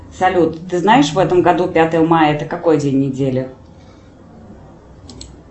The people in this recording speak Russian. салют ты знаешь в этом году пятое мая это какой день недели